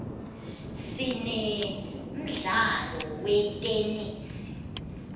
sinemdlalo wetenesi